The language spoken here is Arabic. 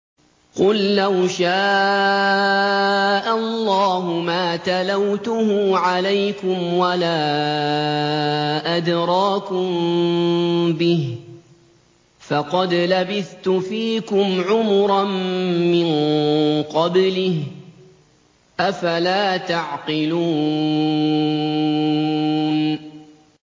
قُل لَّوْ شَاءَ اللَّهُ مَا تَلَوْتُهُ عَلَيْكُمْ وَلَا أَدْرَاكُم بِهِ ۖ فَقَدْ لَبِثْتُ فِيكُمْ عُمُرًا مِّن قَبْلِهِ ۚ أَفَلَا تَعْقِلُونَ